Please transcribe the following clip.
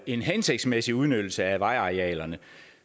en hensigtsmæssig udnyttelse af vejarealerne